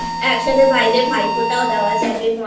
একসাথে ভাইদের ভাইফোঁটা দেওয়া যাবে